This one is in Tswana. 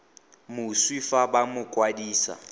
moswi fa ba mo kwadisa